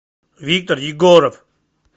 виктор егоров